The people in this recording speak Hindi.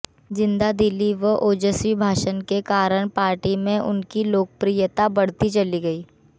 जिंदादिली व ओजस्वी भाषण के कारण पार्टी में उनकी लोकप्रियता बढ़ती चली गई